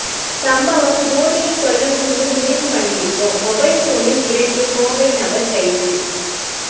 சம்பவம் மோடியை கொல்லணும்னு முடிவு பண்ணியிருக்கோம் மொபைல் போனில் மிரட்டிய கோவை நபர் கைது